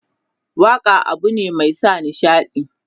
waƙa abune Mai sa nishaɗi.